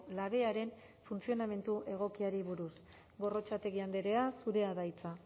labearen funtzionamendu egokiari buruz gorrotxategi andrea zurea da hitza